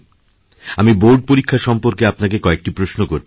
আমি বোর্ড পরীক্ষা সম্পর্কে আপনাকেকয়েকটি প্রশ্ন করতে চাই